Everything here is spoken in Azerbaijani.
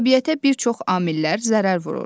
Təbiətə bir çox amillər zərər vurur.